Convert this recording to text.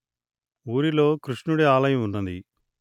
ఊరిలో కృష్ణుడి ఆలయం ఉన్నది